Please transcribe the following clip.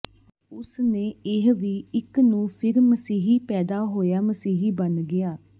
ਉਸ ਨੇ ਇਹ ਵੀ ਇੱਕ ਨੂੰ ਫਿਰ ਮਸੀਹੀ ਪੈਦਾ ਹੋਇਆ ਮਸੀਹੀ ਬਣ ਗਿਆ